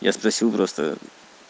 я спросил просто